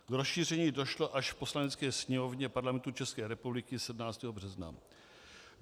K rozšíření došlo až v Poslanecké sněmovně Parlamentu České republiky 17. března.